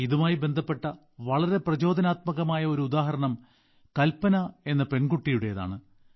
ഇതുമായി ബന്ധപ്പെട്ട വളരെ പ്രചോദനാത്മകമായ ഒരു ഉദാഹരണം കൽപന എന്ന പെൺകുട്ടിയുടേതാണ്